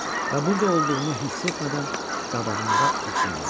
Və burda olduğumu hiss etmədən qabağında addımladı.